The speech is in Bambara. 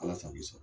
Ala sago i sago